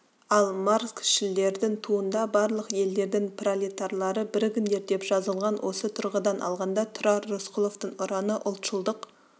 ал марксшілдердің туында барлық елдердің пролетарлары бірігіңдер деп жазылған осы тұрғыдан алғанда тұрар рысқұловтың ұраны ұлтшылдық